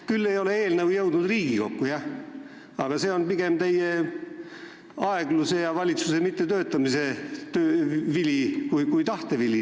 Küll ei ole eelnõu jõudnud Riigikokku, jah, aga see on pigem teie aegluse ja valitsuse mittetöötamise vili, mitte teie tahte vili.